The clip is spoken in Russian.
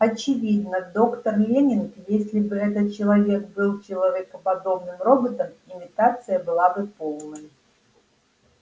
очевидно доктор лэннинг если бы этот человек был человекоподобным роботом имитация была бы полной